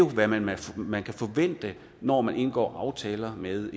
hvad man hvad man kan forvente når man indgår aftaler med